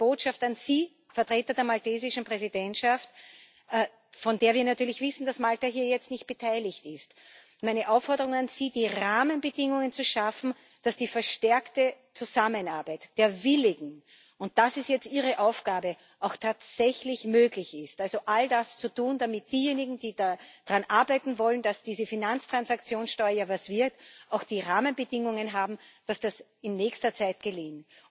Daher meine Botschaft an Sie, Vertreter der maltesischen Präsidentschaft von der wir natürlich wissen, dass Malta hier jetzt nicht beteiligt ist meine Aufforderung an Sie, die Rahmenbedingungen zu schaffen, dass die verstärkte Zusammenarbeit der Willigen und das ist jetzt Ihre Aufgabe auch tatsächlich möglich ist, also all das zu tun, damit diejenigen, die daran arbeiten wollen, dass diese Finanztransaktionssteuer etwas wird, auch die Rahmenbedingungen haben, dass das in nächster Zeit gelingt.